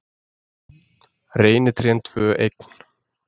Reynitrén tvö eign